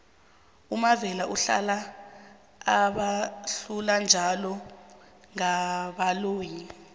umavela uhlala abahlula njalo ngaboali